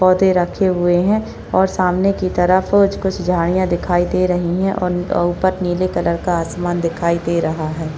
पौधे रखे हुए है और सामने की तरफ कुछ कुछ झाड़ियाँ दिखाई दे रही है और नी उपर नीले कलर का आसमान दिखाई दे रहा है।